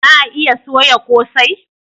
Za a iya soya kosai?